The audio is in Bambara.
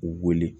U wele